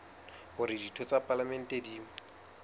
hore ditho tsa palamente di